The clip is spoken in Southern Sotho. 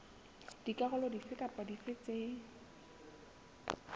dikarolo dife kapa dife tse